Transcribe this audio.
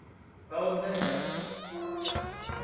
Hvað var nú þetta?